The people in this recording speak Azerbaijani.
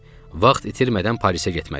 Vaxt itirmədən Parisə getməliydim.